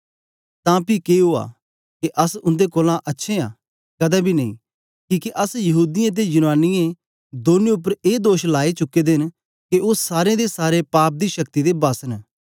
तां पी के उआ के अस उन्दे कोलां अच्छे आं कदें बी नेई किके अस यहूदीयें ते यूनानियें दौनी उपर ए दोष लाई चुके दे न के ओ सारें दे सारें पाप दी शक्ति दे बस न